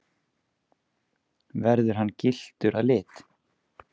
Verður hann gylltur að lit